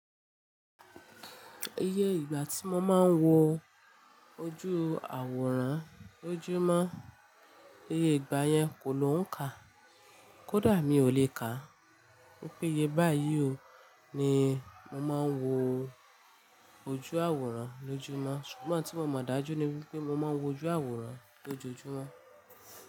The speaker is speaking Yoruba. Iyẹ ìgbà tí mo máa ń wo ojú àwòrán lójúmọ́, iyẹ ìgbà yẹn kò ló ń kà, kódà mi ò lè kà. Pé iye báyìí ò ni mo máa ń wo ojú àwòrán lójúmọ́. Sugbon n tí mo mọ̀ dájú ni wípé mo máa ń wo ojú àwòrán lójoójúmọ́